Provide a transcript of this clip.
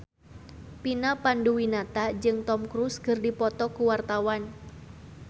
Vina Panduwinata jeung Tom Cruise keur dipoto ku wartawan